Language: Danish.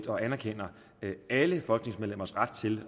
og anerkender alle folketingsmedlemmers ret til